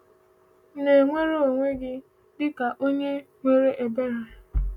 Ị na-ewere onwe gị dịka onye nwere ebere?